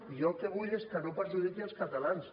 i jo el que vull és que no perjudiqui els catalans